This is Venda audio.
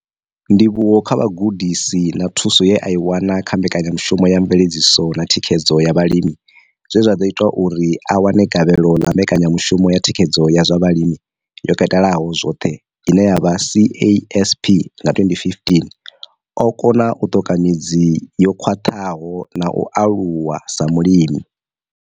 Ndivhuwo kha vhugudisi na thuso ye a i wana kha Mbekanyamushumo ya Mveledziso na Thikhedzo ya Vhalimi zwe zwa ḓo ita uri a wane gavhelo ḽa Mbekanyamushumo ya Thikhedzo ya zwa Vhulimi yo Katelaho zwoṱhe, CASP, nga 2015, o kona u ṱoka midzi yo khwaṱhaho na u aluwa sa mulimi.